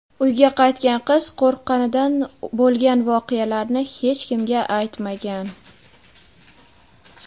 Uyga qaytgan qiz qo‘rqqanidan bo‘lgan voqealarni hech kimga aytmagan.